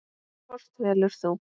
Hvort velur þú?